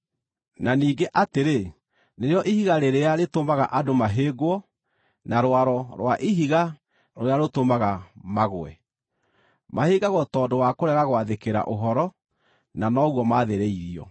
na ningĩ atĩrĩ, “Nĩrĩo ihiga rĩrĩa rĩtũmaga andũ mahĩngwo, na rwaro rwa ihiga rũrĩa rũtũmaga magũe.” Mahĩngagwo tondũ wa kũrega gwathĩkĩra ũhoro, na noguo maathĩrĩirio.